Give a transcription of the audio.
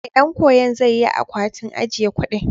Ee, ɗan koyon zai yi akwatin ajiye kuɗin.